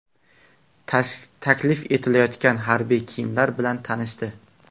Taklif etilayotgan harbiy kiyimlar bilan tanishdi.